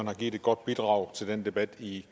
har givet et godt bidrag til den debat i